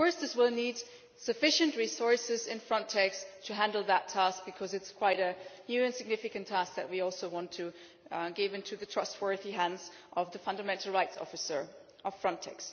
Of course, this will need sufficient resources in Frontex to handle the task because it is quite a new and significant task that we want to place in the trustworthy hands of the fundamental rights officer of Frontex.